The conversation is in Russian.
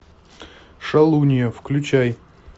шалунья включай